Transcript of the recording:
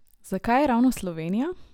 Zakaj ravno Slovenija?